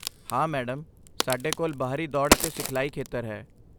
ਹਾਂ, ਮੈਡਮ, ਸਾਡੇ ਕੋਲ ਬਾਹਰੀ ਦੌੜ ਅਤੇ ਸਿਖਲਾਈ ਖੇਤਰ ਹੈ